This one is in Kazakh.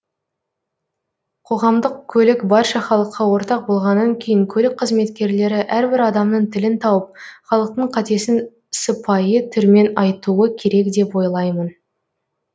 қоғамдық көлік барша халыққа ортақ болғаннан кейін көлік қызметкерлері әрбір адамның тілін тауып халықтың қатесін сыпайы түрмен айтуы керек деп ойлаймын